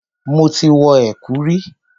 Mo ti wọ ẹ̀kú rí.